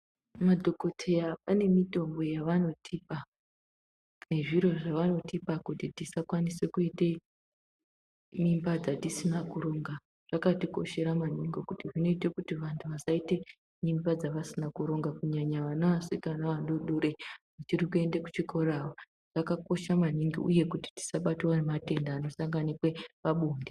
Madhokoteya ane mitombo yavanotipa nezviro zvawanotipa kuti tisakwanise kuite mimba dzatisina kuronga. Zvakatikoshera maningi kuti zvinoite kuti vantu vasaite mimba dzavasina kuronga kunyanya vana vasikana vadodori vari kuende kuchikora ava. Zvakakoshe maningi uye kuti tisabatwa nematenda anosanganikwe pabonde.